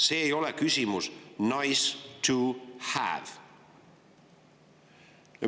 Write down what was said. See ei ole nice-to-have‑küsimus.